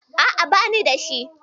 A'a, bani da shi